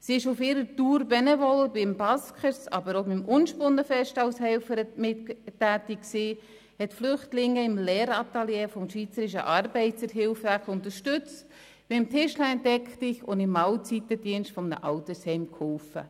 Sie ist auf ihrer Benevol-Tour am Buskers, aber auch am Unspunnenfest als Helferin tätig gewesen, hat Flüchtlinge im Lehratelier des Schweizerischen Arbeiterhilfswerks unterstützt, bei «Tischlein deck dich» und beim Mahlzeitendienst eines Altersheims geholfen.